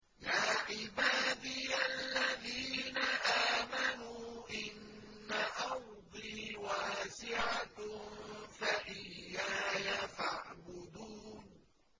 يَا عِبَادِيَ الَّذِينَ آمَنُوا إِنَّ أَرْضِي وَاسِعَةٌ فَإِيَّايَ فَاعْبُدُونِ